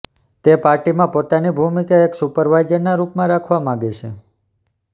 તે પાર્ટીમાં પોતાની ભૂમિકા એક સુપરવાઇઝરના રૂપમાં રાખવા માંગે છે